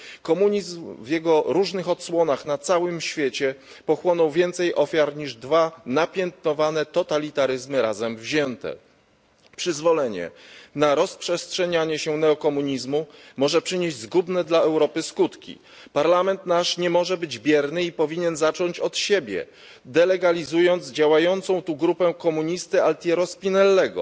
Komunizm w jego różnych odsłonach pochłonął na całym świecie więcej ofiar niż dwa napiętnowane totalitaryzmy razem wzięte. Przyzwolenie na rozprzestrzenianie się neokomunizmu może przynieść zgubne dla Europy skutki. Parlament nie może być bierny i powinien zacząć od siebie, delegalizując działającą tu grupę komunisty Altiera Spinelliego,